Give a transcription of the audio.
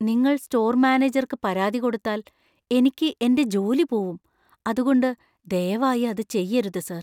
നിങ്ങൾ സ്റ്റോർ മാനേജർക്ക് പരാതി കൊടുത്താൽ എനിക്ക് എന്‍റെ ജോലി പോവും , അതുകൊണ്ട് ദയവായി അത് ചെയ്യരുത്, സർ.